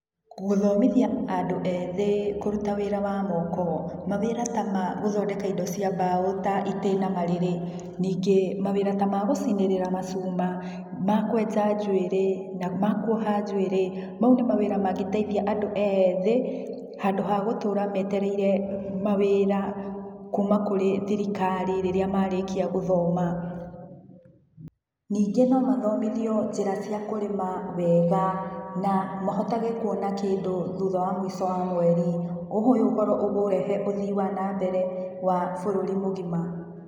Gũthomithia andũ ethĩ kũruta wĩra wa moko. Mawĩra ta ma gũthondeka indo cia mbao ta itĩ na marĩri, ningĩ mawĩra ta ma gũcinĩrĩra macuma, ma kwenja njuĩrĩ, ma kuoha njuĩrĩ, mau nĩ mawĩra mangĩteithia andũ ethĩ, handũ wa gũtũra metereire mawĩra kuma kũrĩ thirikari rĩria marĩkia gũthoma. Ningĩ no mathomithio njĩra cia kũrĩma wega, na mahotage kuona kĩndũ thutha wa mũico wa mweri, ũguo ũyũ ũkũrehe ũthii wa na mbere wa bũrũri mũgima